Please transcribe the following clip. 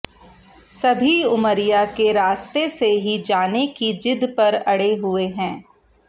सभी उमरिया के रास्ते से ही जाने की जिद पर अड़े हुए हैं